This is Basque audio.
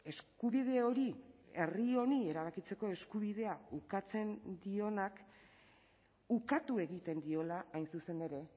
eskubide hori herri honi erabakitzeko eskubidea ukatzen dionak ukatu egiten diola hain zuzen ere